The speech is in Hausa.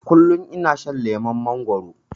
Kullum ina shan lemon mangwaro